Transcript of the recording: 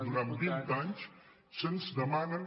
durant vint anys se’ns demane